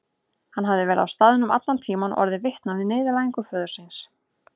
Hann hafði verið á staðnum allan tíman og orðið vitni að niðurlægingu föður síns.